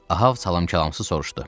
Ahab salam-kəlamsız soruşdu.